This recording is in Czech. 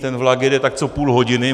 Ten vlak jede tak co půl hodiny.